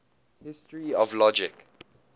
history of logic